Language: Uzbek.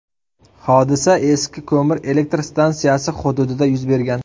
Hodisa eski ko‘mir elektr stansiyasi hududida yuz bergan.